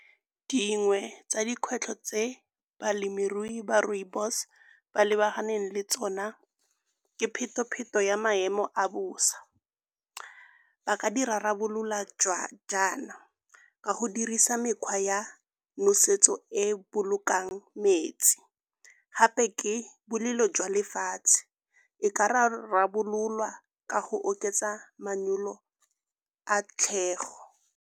Dingwe tsa dikgwetlho tse balemirui ba rooibos ba lebaganeng le tsona ke pheto-pheto ya maemo a bosa. Ba ka di rarabolola jaana ka go dirisa mekgwa ya nosetso e bolokang metsi. Gape ke bolelo jwa lefatshe, e ka rarabololwa ka go oketsa manyolo a tlhego.